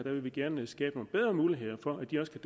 at vi gerne vil skabe nogle bedre muligheder for at de også kan